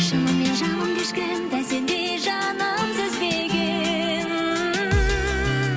шынымен жанымды ешкім дәл сендей жаным сезбеген